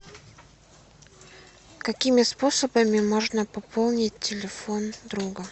какими способами можно пополнить телефон друга